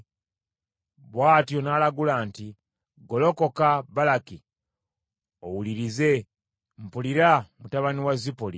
Bw’atyo n’alagula nti, “Golokoka, Balaki, owulirize; mpulira, mutabani wa Zipoli.